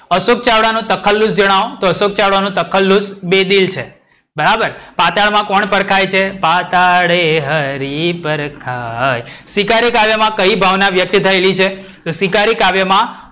અશોક ચાવડા નું તખલ્લુશ જણાવો. તો અશોક ચાવડા નું તખલ્લુશ બેદિલ છે. બરાબર, પાતાળ માં કોણ પરખાય છે? પાતાળે હરિ પરખાય. શિકારી કાવ્યમાં કઈ ભાવના વ્યક્ત થયેલી છે? તો શિકારી કાવ્યમાં,